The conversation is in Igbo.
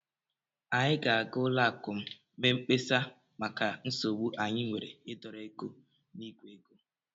Anyị ga-aga ụlọakụ m mee mkpesa maka nsogbu anyị nwere ịdọrọ ego n'ìgwè ego